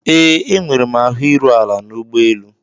Ee, enwere m ahụ iru ala n'ụgbọelu.